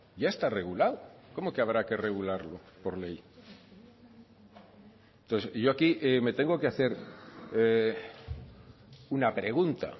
ya está regulado cómo que habrá que regularlo por ley entonces yo aquí me tengo que hacer una pregunta